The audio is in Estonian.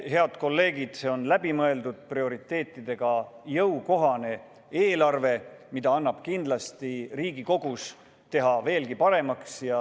Head kolleegid, see on läbimõeldud prioriteetidega jõukohane eelarve, mida annab kindlasti Riigikogus teha veelgi paremaks.